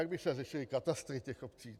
Jak by se řešily katastry těch obcí?